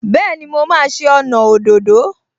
Bẹ́ẹ̀ni, mo máa ṣe ọnà òdòdó